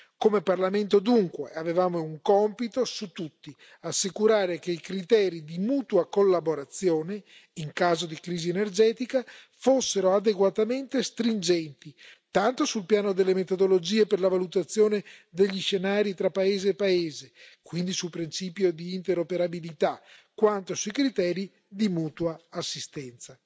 Come Parlamento, dunque, avevamo un compito su tutti, ovvero assicurare che i criteri di mutua collaborazione in caso di crisi energetica fossero adeguatamente stringenti, tanto sul piano delle metodologie per la valutazione degli scenari tra paese e paese, quindi sul principio di interoperabilità, quanto sui criteri di mutua assistenza.